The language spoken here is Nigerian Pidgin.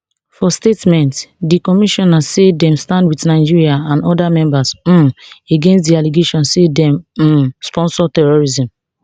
for statement di commission say dem stand wit nigeria and oda member states um against di allegations say dem dey um sponsor terrorism